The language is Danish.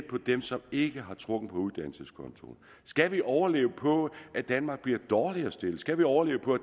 dem som ikke har trukket på uddannelseskontoen skal vi overleve på at danmark bliver dårligere stillet skal vi overleve på